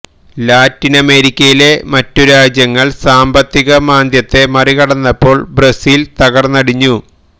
ലാറ്റിനമേരിക്കയിലെ മറ്റു രാജ്യങ്ങള് സാമ്പത്തിക മാന്ദ്യത്തെ മറികടന്നപ്പോള് ബ്രസീല് തകര്ന്നടിഞ്ഞു